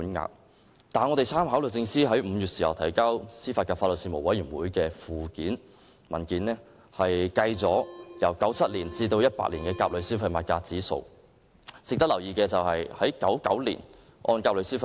然而，我們參考律政司5月提交司法及法律事務委員會文件的附件，當中載列按1997年至2018年甲類消費物價指數變動計算的賠償款額。